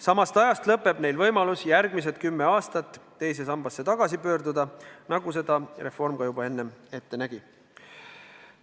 Samast ajast lõppeb neil võimalus järgmised kümme aastat teise sambasse tagasi pöörduda, nagu seda reform ka juba enne ette nägi.